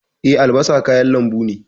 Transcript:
Eh, albasa kayan lambu ne.